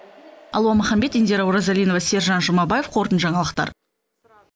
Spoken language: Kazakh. алуа маханбет индира оразалинова сержан жұмабаев қорытынды жаңалықтар